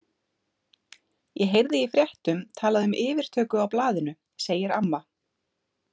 Ég heyrði í fréttum talað um yfirtöku á blaðinu, segir amma.